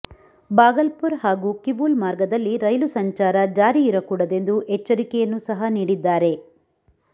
ಭಾಗಲ್ಪುರ್ ಹಾಗೂ ಕಿವೂಲ್ ಮಾರ್ಗದಲ್ಲಿ ರೈಲು ಸಂಚಾರ ಜಾರಿಯಿರಕೂಡದೆಂದು ಎಚ್ಚರಿಕೆಯನ್ನೂ ಸಹ ನೀಡಿದ್ದಾರೆ